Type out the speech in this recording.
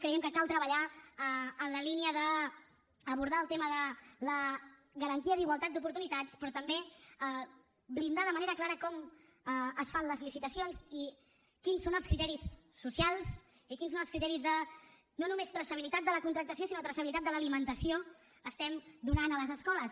i creiem que cal treballar en la línia d’abordar el tema de la garantia d’igualtat d’oportunitats però també blindar de manera clara com es fan les licitacions i quins són els criteris socials i quins són els criteris no només de traçabilitat de la contractació sinó de traçabilitat de l’alimentació que estem donant a les escoles